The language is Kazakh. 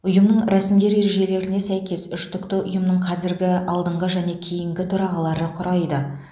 ұйымның рәсімдер ережелеріне сәйкес үштікті ұйымның қазіргі алдыңғы және кейінгі төрағалары құрайды